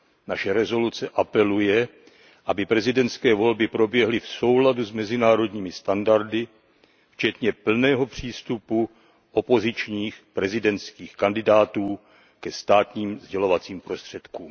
Naše usnesení apeluje, aby prezidentské volby proběhly v souladu s mezinárodními standardy včetně plného přístupu opozičních prezidentských kandidátů ke státním sdělovacím prostředkům.